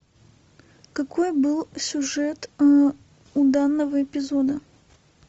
какой был сюжет у данного эпизода